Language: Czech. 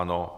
Ano.